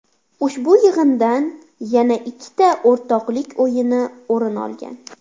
Ushbu yig‘indan yana ikkita o‘rtoqlik o‘yini o‘rin olgan.